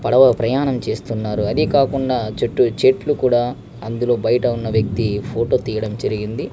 పడవ ప్రయాణం చేస్తున్నారు అదే కాకుండా చుట్టూ చెట్లు కూడా అందులో బయట ఉండే వేక్తి ఫోటో తీయడం జరిగింది.